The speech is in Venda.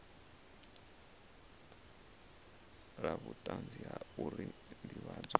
la vhutanzi la uri ndivhadzo